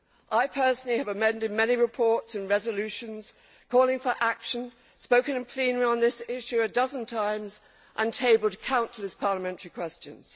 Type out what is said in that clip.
I personally have amended many reports and resolutions calling for action, spoken in plenary on this issue a dozen times and tabled countless parliamentary questions.